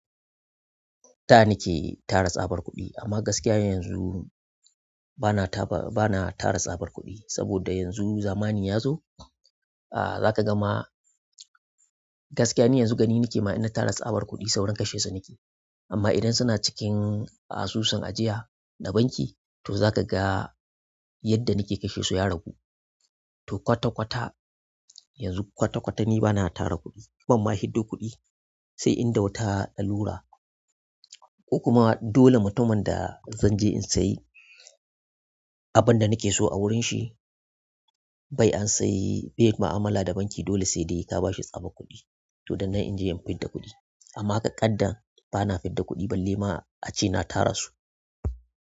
Da nike tara tsabar kuɗi amma gaskiya yanzu bana taɓa bana tara tsabar kuɗi saboda yanzu zamani yazo ah zakaga ma gaskiya ni yanzu gani nike ma ina tara tsabar kuɗi saurin kashe sa nike. Amma idan suna cikin asusun ajiya na banki toh zakaga yadda nike kashesu ya ragu to kwata-kwata yanzu kwata-kwata ni bana tara kuɗi. Ban ma hiddo kuɗi sai in ɗau ta lalura. In kuma dole mutumin da zanje in sayi abunda nike so awurin shi bai an sayi bai yi mu'amala da banki dole sai dai ka bashi tsabar kuɗi. To dannan inje in fidda kuɗi amma ƙaƙadda bana fidda kuɗi balle ma ace na tara su.